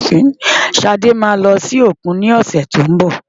Ṣadé máa lọ sí òkun lọ́sẹ̀ tó ń bọ̀.